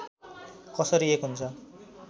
कसरी एक हुन्छ